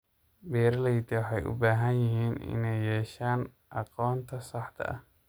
Beeralayda waxay u baahan yihiin inay yeeshaan aqoonta saxda ah.